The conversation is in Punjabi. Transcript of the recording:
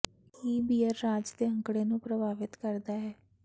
ਕੀ ਬੀਅਰ ਰਾਜ ਦੇ ਅੰਕੜੇ ਨੂੰ ਪ੍ਰਭਾਵਿਤ ਕਰਦਾ ਹੈ